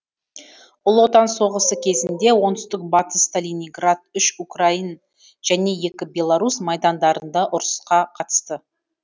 ұлы отан соғысы кезінде оңтүстік батыс сталинград үш украин және екі белорус майдандарында ұрысқа қатысты